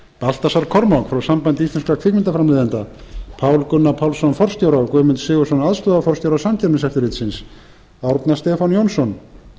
baltasar kormák frá sambandi íslenskra kvikmyndaframleiðenda pál gunnar pálsson forstjóra og guðmund sigurðsson aðstoðarforstjóra samkeppniseftirlitsins árna stefán jónsson